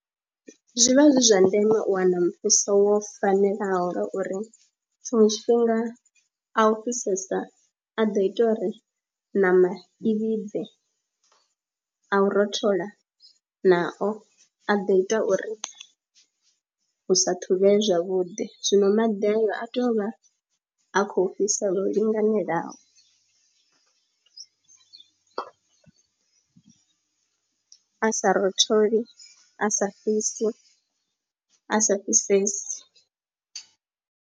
Zwi vha zwi zwa ndeme u wana muvhuso wo fanelaho ngauri tshiṅwe tshifhinga a u fhisesa a ḓo ita uri ṋama i vhibve, a u rothola nao a ḓo ita uri hu sa ṱhuvhee zwavhuḓi. Zwino maḓi ayo a tea u vha a khou fhisa lwo linganelaho a sa rotholesi, a sa fhisi, a sa fhisesi.